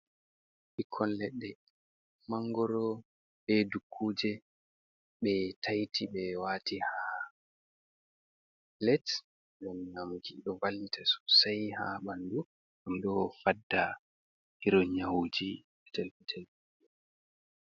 Ɓikkon Leɗɗe, mangoro be dukkuuje ɓe taiti ɓe waati ha pilet, ɗum nyamki ɗo vallita sosai ha ɓandu ɗum ɗo fadda iron nyawuji petel petel.